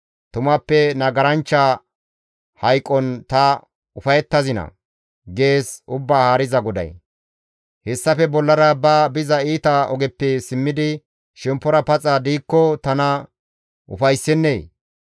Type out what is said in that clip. Tumappe nagaranchcha hayqon ta ufayettazinaa? gees Ubbaa Haariza GODAY. Hessafe bollara izi ba biza iita ogeppe simmidi shemppora paxa diikko tana ufayssennee?